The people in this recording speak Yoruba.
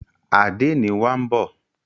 Àdénì wa ń bọ̀.